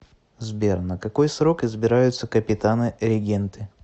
сбер на какой срок избираются капитаны регенты